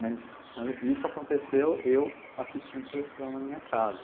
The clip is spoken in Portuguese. Mas isso aconteceu eu assistindo televisão na minha casa.